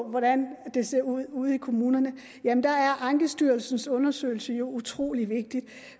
hvordan det ser ud ude i kommunerne er ankestyrelsens undersøgelse jo utrolig vigtig